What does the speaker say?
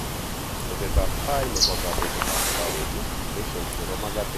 Tesetap tai nepo kopetetatap kowet, lesions nepo magatet ak sumek ap brittle komuche kotok.